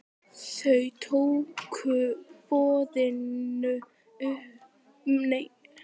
Þau tóku boðinu með þökkum.